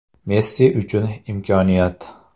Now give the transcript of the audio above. Messi uchun imkoniyat.